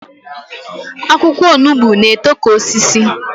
Akwụkwọ onugbo na-eto ka osisi